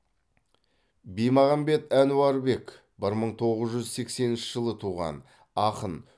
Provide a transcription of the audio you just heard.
бимағамбет әнуарбек бір мың тоғыз жүз сексенінші жылы туған ақын